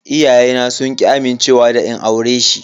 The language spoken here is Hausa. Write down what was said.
Iyayena sun ki amincewa da in aure shi.